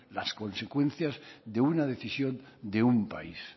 las consecuencias de una decisión de un país